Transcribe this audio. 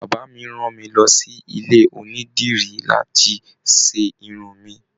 Bàbá mí rán mí lọ sí ilé onídìrí láti ṣe Irun mí.